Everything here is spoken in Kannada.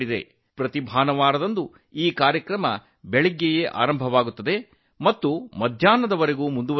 ಪ್ರತಿ ಭಾನುವಾರ ಈ ಕಾರ್ಯಕ್ರಮವು ಬೆಳಿಗ್ಗೆ ಪ್ರಾರಂಭವಾಗಿ ಮಧ್ಯಾಹ್ನದವರೆಗೆ ಮುಂದುವರಿಯುತ್ತದೆ